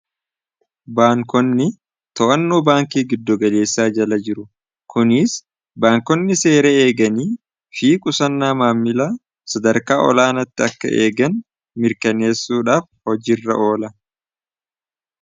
baankonni to'annuu baankii giddogaleessaa jala jiru kuniis baankonni seera eeganii fii qusannaa maammila sadarkaa olaanatti akka eegan mirkaneessuudhaaf hojiirra oola